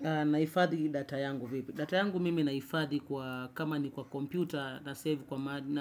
Nahifadhi data yangu vipi. Data yangu mimi nahifadhi kwa kama ni kwa kompyuta na save kwa mahali